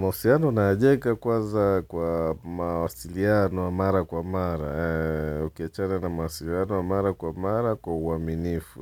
Mahusiano ninayojenga kwanza kwa mawasiliano mara kwa mara, ukiawachana na mawasiliano mara kwa mara kwa uaminifu,